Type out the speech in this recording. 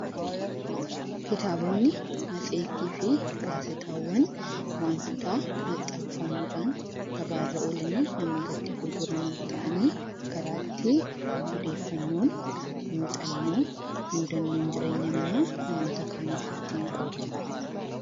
Kitaabonni, matseetii fi gaazexaawwan wantoota maxxanfamuudhaan gabaarra oolanii namootatti gurguraman ta'anii karaa itti oddeefannoon, muuxannoon, mudannoon jireenya namaa namoota kaaniif ittiin qoodamuu dha.